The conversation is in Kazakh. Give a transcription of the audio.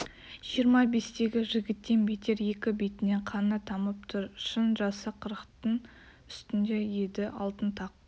жиырма бестегі жігіттен бетер екі бетінен қаны тамып тұр шын жасы қырықтын үстінде еді алтын тақ